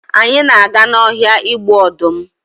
anyị na aga na ọhịa igbu ọdụm